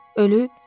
Ölüb?